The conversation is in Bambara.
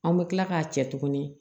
An bɛ kila k'a cɛ tuguni